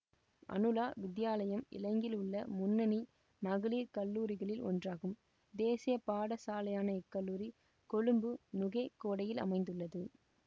அனுலா வித்தியாலயம் இலங்கையிலுள்ள முன்னணி மகளிர் கல்லூரிகளில் ஒன்றாகும் தேசிய பாடசாலையான இக்கல்லூரி கொழும்பு நுகேகொடையில் அமைந்துள்ளது